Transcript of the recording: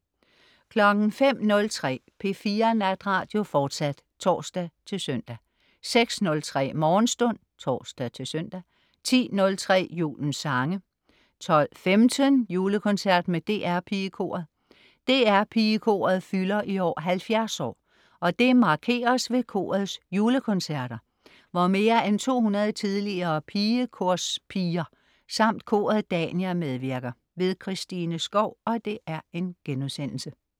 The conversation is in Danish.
05.03 P4 Natradio, fortsat (tors-søn) 06.03 Morgenstund (tors-søn) 10.03 Julens sange 12.15 Julekoncert med DR PigeKoret. DR PigeKoret fylder i år 70 år, og det markeres ved korets julekoncerter, hvor mere end 200 tidligere pigekorspiger samt koret Dania medvirker. Christine Skou*